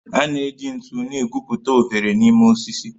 A na-eji ntu na-egwupụta oghere n'ime osisi